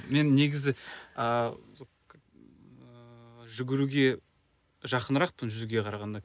мен негізі ааа ыыы жүгіруге жақынырақпын жүзуге қарағанда